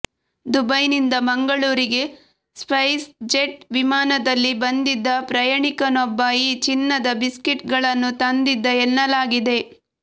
ದುಬೈನಿಂದ ಮಂಗಳೂರಿಗೆ SpiceJet ವಿಮಾನದಲ್ಲಿ ಬಂಧಿದ್ದ ಪ್ರಯಾಣಿಕನೊಬ್ಬ ಈ ಚಿನ್ನದ ಬಿಸ್ಕೆಟ್ ಗಳನ್ನು ತಂದಿದ್ದ ಎನ್ನಲಾಗಿದೆ